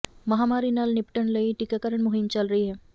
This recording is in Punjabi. ਮਹਾਮਾਰੀ ਨਾਲ ਨਿਪਟਣ ਲਈ ਟੀਕਾਕਰਨ ਮੁਹਿੰਮ ਚੱਲ ਰਹੀ ਹੈ